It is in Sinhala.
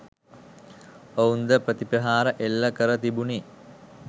ඔවුන් ද ප්‍රතිප්‍රහාර එල්ල කර තිබුණි.